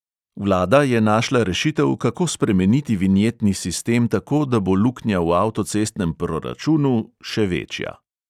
Vlada je našla rešitev, kako spremeniti vinjetni sistem tako, da bo luknja v avtocestnem proračunu še večja.